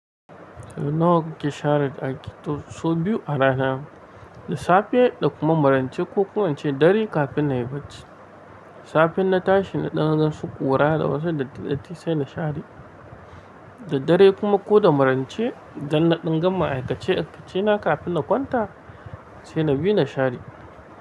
Nawa kake share aiki? To so biyu a rana. Da safe da kuma maraice ko kuma ince ɗari kafin na yi bacci. Safe in na tashi na ɗan gan su ƙura da wasu dattati sai na share. Da dare kuma ko da marance idan na ɗan gama aikace aikace na kafin na kwanta sai na bi na share.